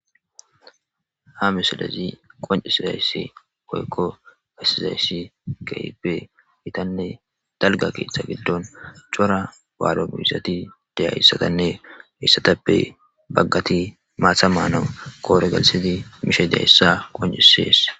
ha misilazi qonci silayssi poykko fassizayssi gayibe itanne dalga keeththa giddon cora baalo miyizati dayayssatanne heiyssatappe baggati maatha maana koore galsidi mishadayssa qoncisees